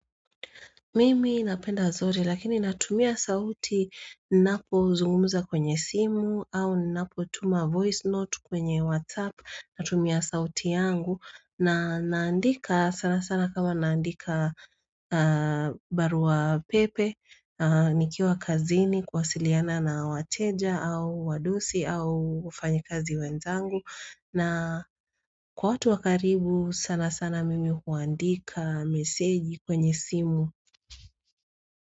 Mimi napenda zote lakini natumia sauti ninapozungumza kwenye simu au ninapotuma voice note kwenye whatsapp natumia sauti yangu na naandika sana sana kama naandika barua pepe nikiwa kazini kuwasiliana na wateja au wadosi au wafanyikazi wenzangu na kwa watu wa karibu sana sana mimi huandika meseji kwenye simu.